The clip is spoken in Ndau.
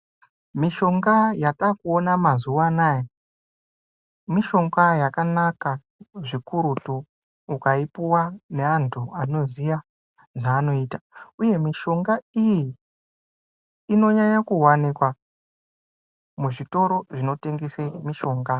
Mushonga yatakuona mazuwa anaya mushonga yakanaka zvikurutu ukaipuwa nevantu vanoziya zvavanoita uye mushonga iyi inonyanye kuwanikwa muzvitoro zvinotengese mishonga.